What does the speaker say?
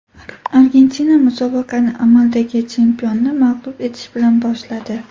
Argentina musobaqani amaldagi chempionni mag‘lub etish bilan boshladi.